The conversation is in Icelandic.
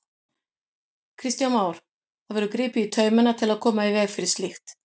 Kristján Már: Það verður gripið í taumana til að koma í veg fyrir slíkt?